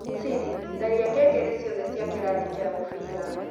siri tharia ngengere ciothe cia cia kĩrathi kĩa mũbira